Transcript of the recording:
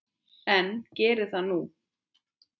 En geri það nú.